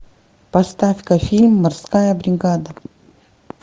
поставь ка фильм морская бригада